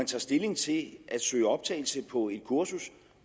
tage stilling til at søge optagelse på et kursus